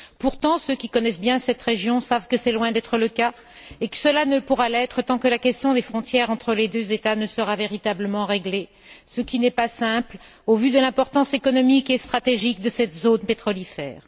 Pourtant, ceux qui connaissent bien cette région savent que c'est loin d'être le cas et que cela ne pourra l'être tant que la question des frontières entre les deux États ne sera pas véritablement réglée, ce qui n'est pas simple au vu de l'importance économique et stratégique de cette zone pétrolifère.